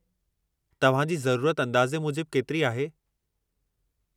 तव्हां जी ज़रूरत अंदाज़े मूजिब केतिरी आहे?